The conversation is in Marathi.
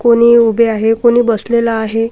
कोणी उभे आहे कोणी बसलेलं आहे.